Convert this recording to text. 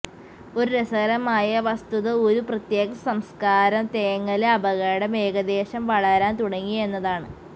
ഒരു രസകരമായ വസ്തുത ഒരു പ്രത്യേക സംസ്കാരം തേങ്ങല് അപകടം ഏകദേശം വളരാൻ തുടങ്ങി എന്നതാണ്